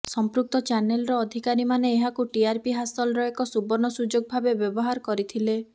ସମ୍ପୃକ୍ତ ଚ୍ୟାନେଲର ଅଧିକାରୀମାନେ ଏହାକୁ ଟିଆରପି ହାସଲର ଏକ ସୁବର୍ଣ୍ଣ ସୁଯୋଗ ଭାବେ ବ୍ୟବହାର କରିଥିଲେ